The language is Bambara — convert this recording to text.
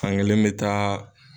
Fan kelen me taa